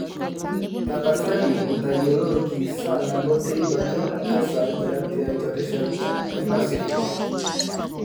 tapasali ntayioloki saa nabo teipa ajo kesaaja tiatua rishat e pasifik